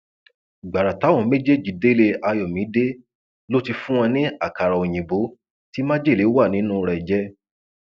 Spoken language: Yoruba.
gbàrà táwọn méjèèjì délé ayọmídé ló ti fún wọn ní àkàrà òyìnbó tí májèlé wà nínú rẹ jẹ